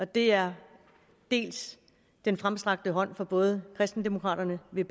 det er dels den fremstrakte hånd fra både kristendemokraterne ved